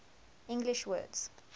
english words